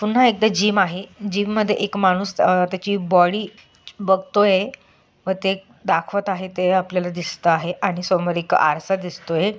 पुन्हा एकदा जीम आहे जीम मध्ये एक माणूस अह त्याची बॉडी बगतोय व ते एक दाखवत आहेते आपल्याला दिसत आहे आणि समोर एक आरसा दिसतोय.